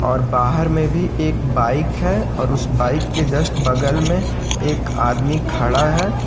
और बाहर में भी एक बाइक है और उसे बाइक के जस्ट बगल में एक आदमी खड़ा है।